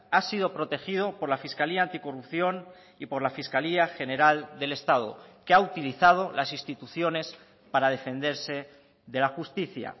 ha sido protegido por la fiscalía anticorrupción y por la fiscalía general del estado que ha utilizado las instituciones para defenderse de la justicia